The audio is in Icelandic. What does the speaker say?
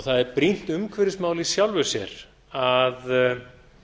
það er brýnt umhverfismál í sjálfu sér að